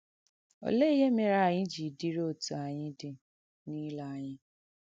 Ọléè ihe mèrē ànyị jī dìrì òtụ ànyị dị̀ n’ìlè ànyà?